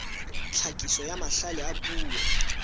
tlhakiso ya mahlale a puo